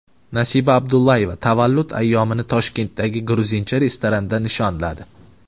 Nasiba Abdullayeva tavallud ayyomini Toshkentdagi gruzincha restoranda nishonladi .